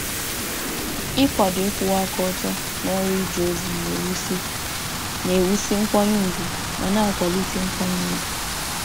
Ịkwado eziokwu n’ọrụ ozi na-ewusi ugwu ike ma na-akwalite nkwanye ùgwù n’otu n’otu.